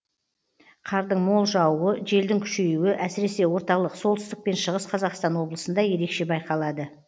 қардың мол жаууы желдің күшейуі әсіресе орталық солтүстік пен шығыс қазақстан облысында ерекше байқалады